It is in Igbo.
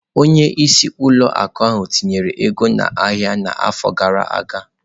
Onye isi ụlọ akụ ahụ tinyere ego n'ahịa n'afọ gara aga.